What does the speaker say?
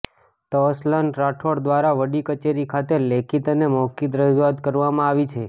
ત અસલ્ન રાઠોડ દ્વારા વડી કચેરી ખાતે લેખીત અને મૌખિક રજૂઆત કરવામાં આવી છે